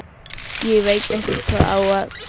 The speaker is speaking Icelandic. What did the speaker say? Ég veit ekkert hvað ég á að segja.